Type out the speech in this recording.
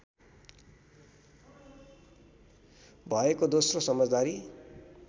भएको दोस्रो समझदारी